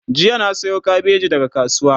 jiya na Sayo kabeji daga kasuwa